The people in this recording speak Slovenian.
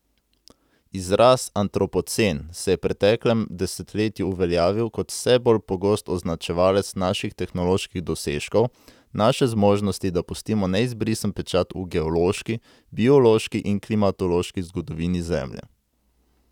Izraz antropocen se je preteklem desetletju uveljavil kot vse bolj pogost označevalec naših tehnoloških dosežkov, naše zmožnosti, da pustimo neizbrisen pečat v geološki, biološki in klimatološki zgodovini Zemlje.